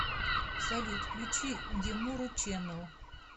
салют включи демуру чэнэл